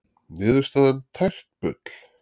Niðurstaðan tært bull